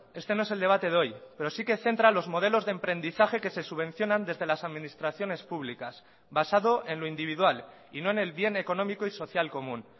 este no es el debate de hoy pero sí que centra los modelos de emprendizaje que se subvencionan desde las administraciones públicas basado en lo individual y no en el bien económico y social común